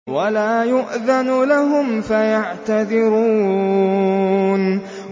وَلَا يُؤْذَنُ لَهُمْ فَيَعْتَذِرُونَ